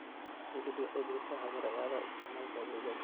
Dawladdu waxay bixisa habraacyada isticmaalka adeegyada.